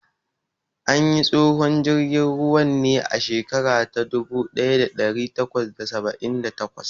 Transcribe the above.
An yi tsohon jirgin ruwan ne a shekara ta dubu ɗaya da ɗari takwas da saba'in da takwas.